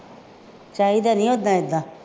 ਚਾਹੀਦਾ ਨਹੀਂ ਉਦਾਂ ਏਦਾਂ